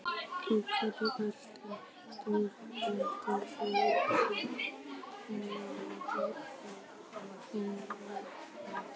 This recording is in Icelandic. Í herjum allra stórveldanna mátti því finna hermenn af ólíku þjóðerni.